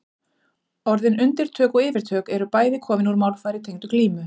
Orðin undirtök og yfirtök eru bæði komin úr málfari tengdu glímu.